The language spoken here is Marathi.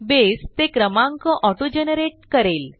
बसे ते क्रमांक auto जनरेट करेल